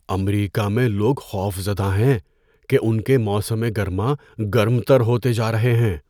امریکہ میں لوگ خوفزدہ ہیں کہ ان کے موسم گرما گرم تر ہوتے جا رہے ہیں۔